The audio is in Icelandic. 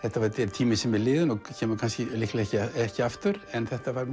tími sem er liðinn og kemur líklega ekki aftur en það var